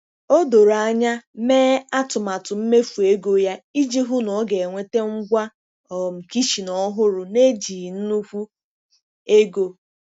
O doro anya mee atụmatụ mmefu ego ya iji hụ na ọ ga-enweta ngwa um kichin ọhụrụ na-ejighi nnukwu ego.